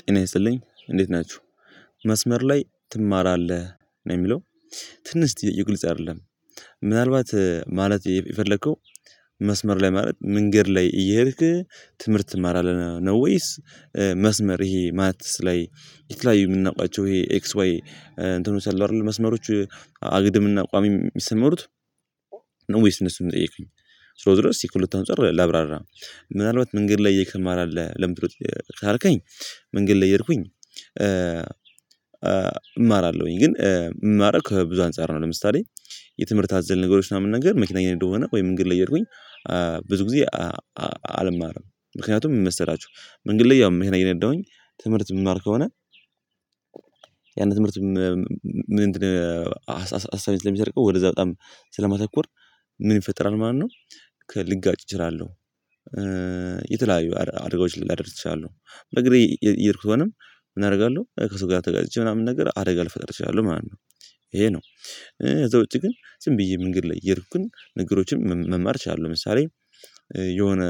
ጤና ይስልኝ እንዴት ናችሁ። መስመር ላይ ትማራለህ ነው የሚለው ትንሽ ጥያቄው ግልጽ አይደለም። ምናልባት ማለት የፈለከው መስመር ላይ ማለት መንገድ ላይ እየሄድክ ትምህርት ትማራለህ ነው? ወይስ መስመር ይሄ ማትስላይ የተለያዩ የምናውቃቸው ይሄ ኤክስ ዋይ እንትኖች አሏ አይደል መስመሮች አግድምና ቋሚ ሚሰመሩት። ነው ወይስ እነሱን የጠየከቀኝ ዞሮ ዞሮ ከሁለቱ አንፃር ላብራራ። ምናልባት መንገድ ላይ ይኽማራለ ለምን ድ ካልከኝ መንገድ እየሄድኩኝ እማራለሁኝ ግን እምማረው ከ ብዙ አንፃር ነው። ለምሳሌ የትምህርት አዘል ነገሮች ምናምን ነገር መኪናዬን እየነዳሁ ከሆነ ወይም መንገድ ላይ እየሄድኩኝ ብዙ ጊዜ አልማረም። ምክንያቱም ምን መሰላችሁ መንገድ ላይ ያው መኪና እየነዳሁኝ ትምህርት ምማር ከሆነ ያን ትምህርት ምን ሀሳቤን ስለሚሰርቀው ወደዛ በጣም ስለማተኮር ምን ይፈጥራል ማነው ከ ልጋ ጭ እችላለሁ። የተለያዩ አደጋዎች ላደርስ እችላለሁ በግሬ እየሄድኩ ከሆነም ምን አደርጋለሁ ከው ጋር ተጋጭቼ ምናምን ነገር አደጋ ልፈጥር እችላለሁ ማለት ነው። ይሄ ነው እዛ ውጪ ግን ዝም ብዬ መንገድ ላይ እየሄድኩኝ ነገሮችን መማር እችላለሁ። ለምሳሌ የሆነ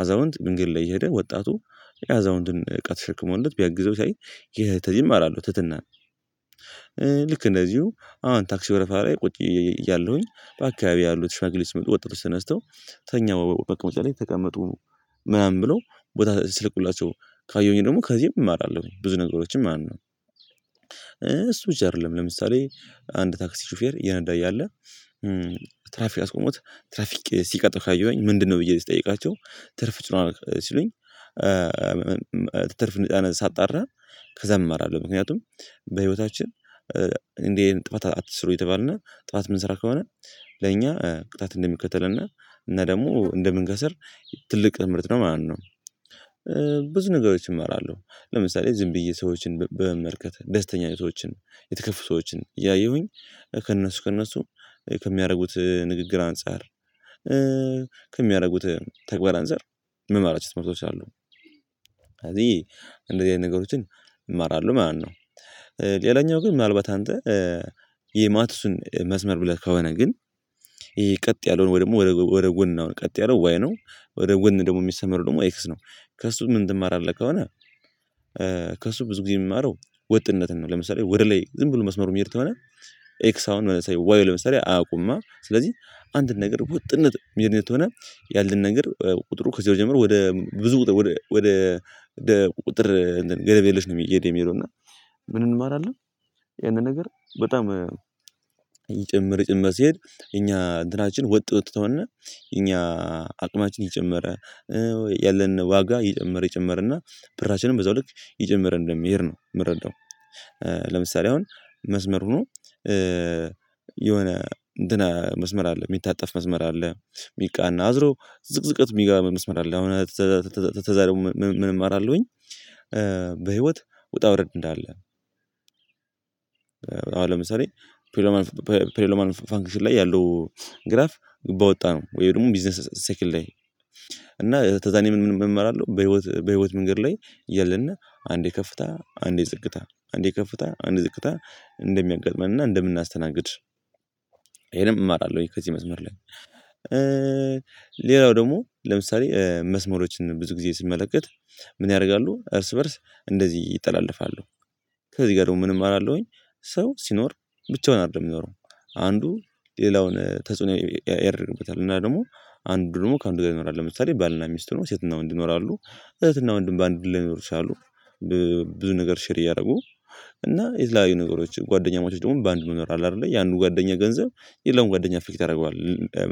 አዛውንት መንገድ ላይ እየሄደ ወጣቱ የአዛውንትን እቃ ተሸክሞለት ቢያግዘው ሳይ ይህ ተይም እማራለው ትትናን እንደዚሁ አሁን ታክሲ ወረፋ ላይ ቁጭ እያለሁኝ በአካባቢ ያሉት ሽማግሌ ተነስተው ተኛው መቀእመጫ ላይ ተቀመጡ ምናምን ብለው ቦታ ሲለቁላቸው ካየሁኝ ደግሞ ከዚህም እማራለሁ ብዙ ነገሮችን ማለት ነው። እሱ ብቻ አይደለም ለምሳሌ አንድ ታክሲ ሹፌር እየነዳ እያለ ያለ ትራፊክ አስቆሞት ትራፊክ ሲቀጥል ካየኋኝ ምንድነው ብዬ ስጠይቃቸው ትርፍ ጭኗል ሲሉኝ። ትርፍ እንደጫነ ሳጣራ ከዛ እማራለሁ ምክንያቱም በህይወታችን እንዲህ አይነት ጥፋት አትስሩ እየተባልነ ጥፋት የምንሰራ ከሆነ ለእኛ ቅጣት እንደሚከተልና እና ደግሞ እንደምንከስር ትልቅ ትምርት ነው ማለት ነው። ብዙ ነገሮችን እመራለሁ ለምሳሌ ዝም ብዬ ሰዎችን በመመርከት ደስተኛ ሰዎችን የተከፈቱ ሰዎችን እያየሁኝ ከእነሱ ከእነሱ ከሚያደርጉት ንግግር አንፃር ከሚያደርጉት ተግባራን አንፃር ምማራቸው ትምርቶች አሉ። እንደዚህ አይነት ነገሮችን እማራለሁ ማለት ነው። ሌላኛው ግን ምናልባት አንተ የማትሱን መስመር ብለህ ከሆነ ግን ይሄ ቀጥ ያለውን ወይ ደግሞ ወደ ወደ ጎን ነው ቀጥ ያለው ወይ ነው ወደ ጎን ደግሞ ሚሰመረው ደግሞ ኤክስ ነው ከእሱ ምን ትማራለህ ከሆነ? ከእሱ ብዙ ጊዜ ምማረው ወጥነትን ነው ለምሳሌ ወደ ላይ ዝም ብሎ መስመሩ ሚሄድ ተሆነ ኤክስ አሁን ዋይ ለምሳሌ አያውቁም አ ስለዚህ አንድ ነገር ውጥነት ሚደት ተሆነ ያለን ነገር ቁጥሩ ከዚያው ጀምሮ ወደ ብዙ ወደ ወደ ወደ ቁጥር ገደብ የለሽ ነው የሄደ የሚሄደው እና ምን እንማራለን ያንን ነገር በጣም ይጨምር ይጨምር ሲሄድ እኛ እንትናችን ወጥ ወጥተውና እኛ አቅማችን እየጨመረ ያለን ዋጋ ይጨመረ ይጨመረና ብራችንም በዛው ልክ እየጨመረ እንደሚሄድ ነው ምረዳው። ለምሳሌ አሁን መስመር ሆኖ የሆነ እንትን መስመር አለ ሚታጠፍ መስመር አለ ሚቃና አዝሮ ዝቅዝቀት ሚገባ መስመር አለ። ከዛ ደግሞ ምንም እማራለሁኝ በህይወት ውጣ ውረድ እንዳለ። አሁን ለምሳሌ ፕሌሎማን ፕሌሎማን ኦፋ ፋንክሽን ላይ ያለው ግራፍ ባወጣ ነው ወይ ደግሞ ቢዝነስ ሴክል ላይ እና ተዛኔ ምን እማራለሁ በህይወት በህይወት መንገድ ላይ እያለንና አንዴ ከፍታ አንዴ ዝቅታ አንዴ ከፍታ አንዴ ዝቅታ እንደሚያጋጥመንና እንደምናስተናግድ። ይሄንም እማራለሁ ከዚህ መስመር ላይ። ሌላው ደግሞ ለምሳሌ መስመሮችን ብዙ ጊዜ ሲመለከት ምን ያደርጋሉ እርስ በእርስ እንደዚህ ይጠላለፋሉ ከዚህ ጋር ደግሞ ምን አማራለሁኝ? ሰው ሲኖር ብቻውን አይደለም ሚኖረው አንዱ ሌላውን ተጽዕኖ ያደርግበታል እና ደግሞ አንዱ ደግሞ ከአንዱ ጋር ይኖራል ለምሳሌ ባልና ሚስት ሁነው ሴትና ወንድ ይኖራሉ እህትና ወንድም በአንዱ ላይኖሩ ይችላሉ። ብዙ ነገር ሼር እያደረጉ እና የተለያዩ ነገሮች ጓደኛማቾች ደግሞ በአንድ መኖር አለ አይደለ ያንዱ ጓደኛ ገንዘብ የሌላውም ጓደኛ አፌክት ያደርገዋል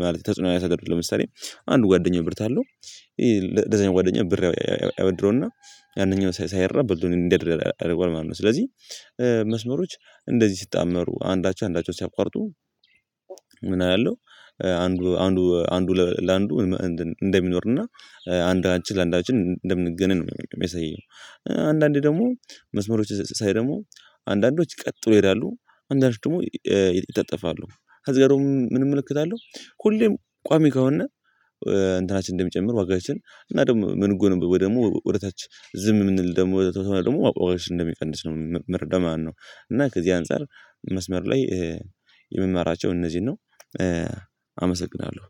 ማለት ተጽዕኖ ያሳድ ለምሳሌ አንድ ጓደኛ ብር ታለው ለዛኛው ጓደኛ ብር ያበድረውና ያነኛው ሳይረብ ብድሩ እንዲያድር ያደርገዋል ማለት ነው። ስለዚህ መስመሮች እንደዚህ ሲጣመሩ አንዳቸው አንዳቸውን ሲያቋርጡ ምን አያለው አንዱ ለአንዱ አንዱ ለአንዱ እንትን እንደሚኖርና አንዳችን ለአንዳችን እንደምንገነኝ ነው የሚያሳየኝ። አንዳንዴ ደግሞ መዝሙሮች ሳይ ደሞ አንዳንዶች ቀጥሎ ይሄዳሉ አንዳንዶች ደግሞ ይጣጠፋሉ ከዛ ደሞ ምንም እመለከታለሁ ሁሌም ቋሚ ከሆነ እንትናችን እንደሚጨምር ዋጋችን እና ደግሞ ምን እምንጎነበ ወይም ደሞ ወደ ታች ዝም ምንል ደግሞ ደግሞ ዋጋችን እንደሚቀንስ ነው ምረዳ ማለነው እና ከዚህ አንፃር መስመር ላይ የምመራቸው እነዚህን ነው። አመሰግናለሁ